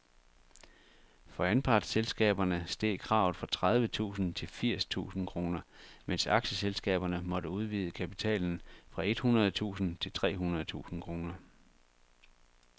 For anpartsselskaberne steg kravet fra tredive tusind til firs tusind kroner, mens aktieselskaberne måtte udvide kapitalen fra et hundrede tusind til tre hundrede tusind kroner.